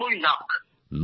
৯০ lakh